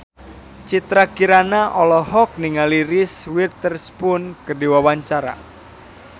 Citra Kirana olohok ningali Reese Witherspoon keur diwawancara